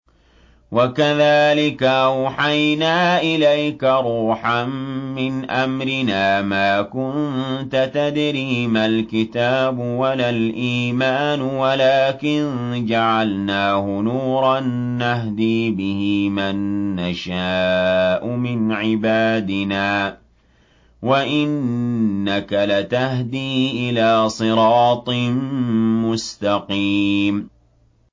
وَكَذَٰلِكَ أَوْحَيْنَا إِلَيْكَ رُوحًا مِّنْ أَمْرِنَا ۚ مَا كُنتَ تَدْرِي مَا الْكِتَابُ وَلَا الْإِيمَانُ وَلَٰكِن جَعَلْنَاهُ نُورًا نَّهْدِي بِهِ مَن نَّشَاءُ مِنْ عِبَادِنَا ۚ وَإِنَّكَ لَتَهْدِي إِلَىٰ صِرَاطٍ مُّسْتَقِيمٍ